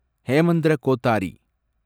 Hemendra Kothari